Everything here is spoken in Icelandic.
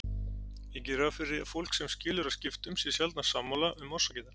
Ég geri ráð fyrir að fólk sem skilur að skiptum sé sjaldnast sammála um orsakirnar.